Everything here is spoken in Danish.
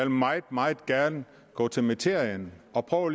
meget meget gerne gå til materien og